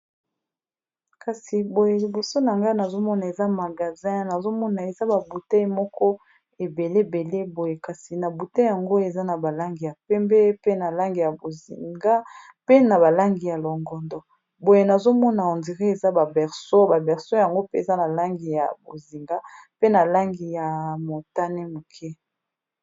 Kasi boye liboso na ngai nazomona eza magasin ,nazomona eza ba bouteille moko ebele boye kasi na bouteille yango eza na balangi ya pembe, pe ya bozinga, pe langi ya longondo boye nazomona on dirait eza ba berso yango pe eza na langi ya bozinga, pe ya motane moke.